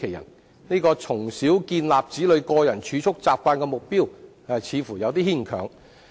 因此，這項"從小建立子女個人儲蓄習慣"的目標似乎略嫌牽強。